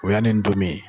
O y'a ni n tomin ye